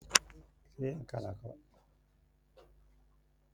A na-eji remuva na-ehichapụ etemeete na ihu na njedebe nke ụbọchị.